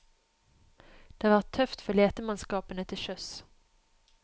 Det har vært tøft for letemannskapene til sjøs.